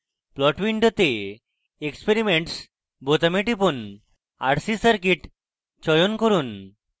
plot window experiments বোতামে টিপুন rc circuit চয়ন করুন